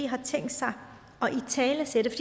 har tænkt sig at italesætte